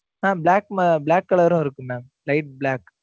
ஆஹ் black, black color ம் இருக்கு mam, light black